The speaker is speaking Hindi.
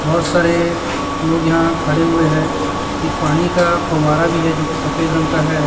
बहोत सारे लोग यहां खड़े हुए हैं एक पानी का फव्वारा भी है जो की सफेद रंग का है।